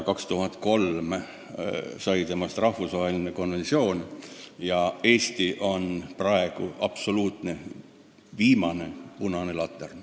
2003. aastal koostati rahvusvaheline konventsioon ja Eesti on selles mõttes praegu absoluutselt viimane, punane latern.